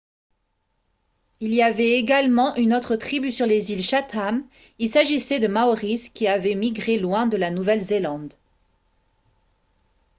il y avait également une autre tribu sur les îles chatham il s'agissait de maoris qui avaient migré loin de la nouvelle-zélande